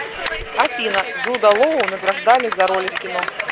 афина джуда лоу награждали за роли в кино